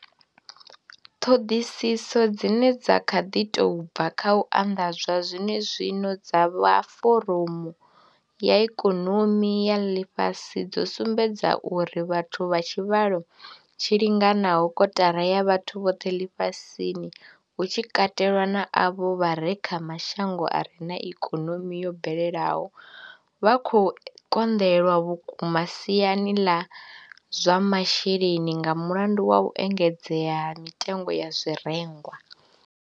Ṱhoḓisiso dzine dza kha ḓi tou bva kha u anḓadzwa zwene zwino dza vha Foramu ya Ikonomi ya Ḽifhasi dzo sumbedza uri vhathu vha tshivhalo tshi linganaho kotara ya vhathu vhoṱhe ḽifhasini, hu tshi katelwa na avho vha re kha mashango a re na ikonomi yo bvelelaho, vha khou konḓelwa vhukuma siani ḽa zwa masheleni nga mulandu wa u engedzea ha mitengo ya zwirengwa.